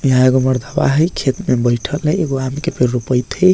हीया एगो मर्दवा हेय खेत में बइठल हेय एगो आम के पेड़ रोपेएत हेय।